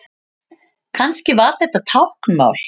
Kannski var þetta táknmál?